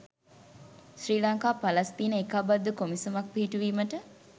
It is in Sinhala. ශ්‍රී ලංකා පලස්තීන ඒකාබද්ධ කොමිසමක් පිහිටුවීමට